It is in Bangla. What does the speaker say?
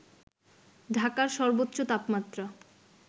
ঢাকার সর্বোচ্চ তাপমাত্রা